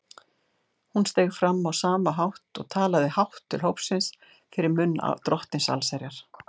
Hún steig fram á sama hátt og talaði hátt til hópsins fyrir munn Drottins allsherjar.